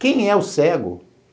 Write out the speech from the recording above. Quem é o cego?